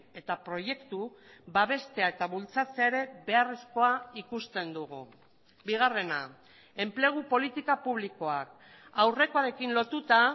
eta proiektu babestea eta bultzatzea ere beharrezkoa ikusten dugu bigarrena enplegu politika publikoak aurrekoarekin lotuta